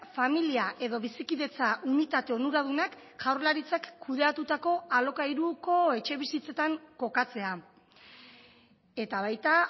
familia edo bizikidetza unitate onuradunak jaurlaritzak kudeatutako alokairuko etxebizitzetan kokatzea eta baita